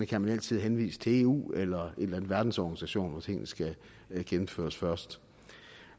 kan man altid henvise til eu eller en verdensorganisation hvor tingene skal gennemføres først